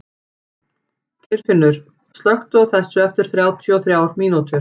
Geirfinnur, slökktu á þessu eftir þrjátíu og þrjár mínútur.